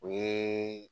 O ye